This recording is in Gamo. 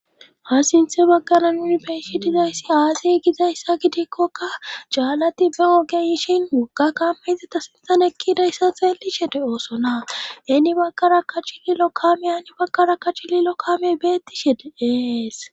ha sinthe baggara nuni beyishe dizayssi aasey gizayssa gidikkokka jaallati be ogeyishin wogga kamaizeta sintan ekkidayssa xeelishe de oosona eni baggara ka chililo kame ani baggara ka chililo kame beettishe deees